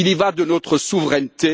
Il y va de notre souveraineté.